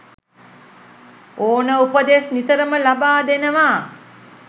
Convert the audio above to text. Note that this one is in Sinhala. ඕන උපදෙස් නිතරම ලබා දෙනවා.